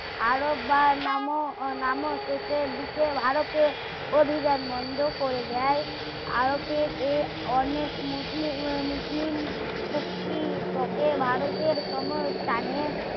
আরব বা নামও নামও শেষের দিকে ভারতে অভিযান বন্ধ করে দেয় আরবের এ অনেক মুসলিম মুসলিম শক্তি ভারতের